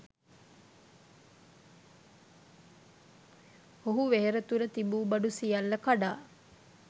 ඔහු වෙහෙර තුළ තිබූ බඩු සියල්ල කඩා